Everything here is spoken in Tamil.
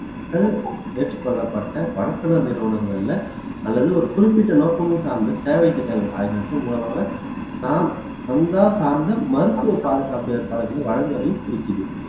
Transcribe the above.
ஏற்றுக்கொள்ளப்பட்ட பணக்கார நிறுவனங்கள்ல அல்லது ஒரு குறிப்பிட்ட நோக்கமும் சார்ந்த சேவை திட்டங்கள் ஆகியவற்றின் மூலமாக சா சந்தா சார்ந்த மருத்துவ பாதுகாப்பு ஏற்பாடுகளை வழங்குவதையும் குறிக்குது